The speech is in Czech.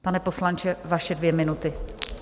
Pane poslanče, vaše dvě minuty.